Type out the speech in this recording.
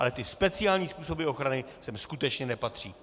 Ale ty speciální způsoby ochrany sem skutečně nepatří.